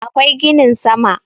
akwai ginin sama